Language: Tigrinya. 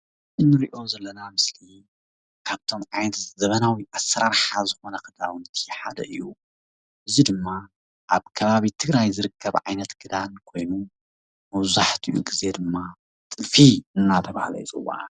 እዚ ንሪኦ ዘለና ምስሊ ካብቶም ዓይነት ዘበናዊ ኣሰራርሓ ዝኮነ ክዳውንቲ ሓደ እዩ። እዚ ድማ ኣብ ከባቢ ትግራይ ዝርከብ ዓይነት ክዳን ኮይኑ መብዛሕትኡ ግዜ ድማ ጥልፊ እናተብሃለ ይፅዋዕ።